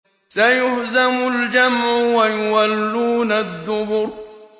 سَيُهْزَمُ الْجَمْعُ وَيُوَلُّونَ الدُّبُرَ